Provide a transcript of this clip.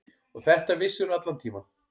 Og þetta vissirðu allan tímann.